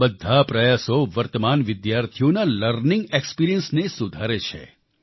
આ બધા પ્રયાસો વર્તમાન વિદ્યાર્થીઓના લર્નિંગ એક્સપીરિયન્સ ને સુધારે છે